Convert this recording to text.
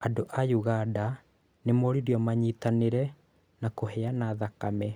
Andũ a Uganda nĩ moririo manyitanĩre na kũheana thakame